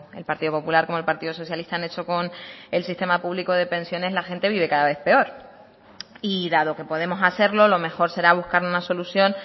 el partido popular como el partido socialista han hecho con el sistema público de pensiones la gente vive cada vez peor y dado que podemos hacerlo lo mejor será buscar una solución